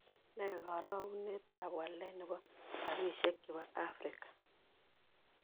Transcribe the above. Ne karogunetap walet ne po rabisiek chepo afrika